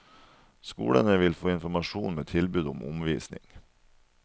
Skolene vil få informasjon med tilbud om omvisning.